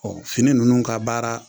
fini nunnu ka baara